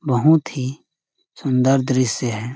बहुत ही सुन्दर दृश्य है।